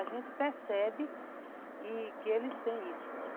A gente percebe que eles têm isso.